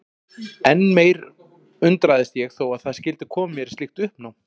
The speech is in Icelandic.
Enn meir undrast ég þó að það skyldi koma mér í slíkt uppnám.